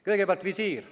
Kõigepealt visiir.